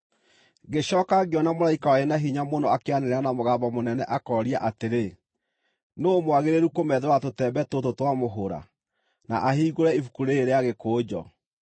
Ngĩcooka ngĩona mũraika warĩ na hinya mũno akĩanĩrĩra na mũgambo mũnene akooria atĩrĩ, “Nũũ mwagĩrĩru kũmethũra tũtembe tũtũ twa mũhũra, na ahingũre ibuku rĩĩrĩ rĩa gĩkũnjo?”